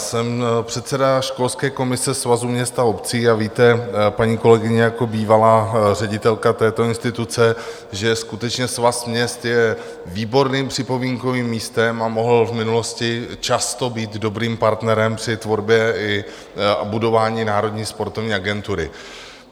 Jsem předseda školské komise Svazu měst a obcí a víte, paní kolegyně, jako bývalá ředitelka této instituce, že skutečně Svaz měst je výborným připomínkovým místem a mohl v minulosti často být dobrým partnerem při tvorbě a budování Národní sportovní agentury.